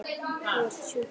Þú ert sjúkur maður.